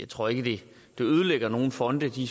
tror ikke det ødelægger nogen fonde de